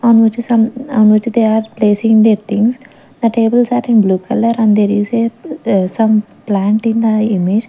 on which some on which are placing their things the tables are in blue color and there is a some plant in the image.